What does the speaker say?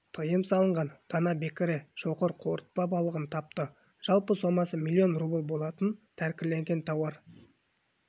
тыйым салынған дана бекіре шоқыр қорытпа балығын тапты жалпы сомасы млн рубль болатын тәркіленген тауар